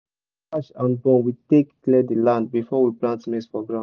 slash-and-burn we take clear the land before we plant maize for ground